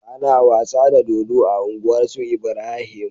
Ana wasa dodo a unguwar su Ibrahim